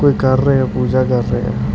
ਕੁਝ ਕਰ ਰਹੇ ਹ ਪੂਜਾ ਕਰ ਰਹੇ ਹ ।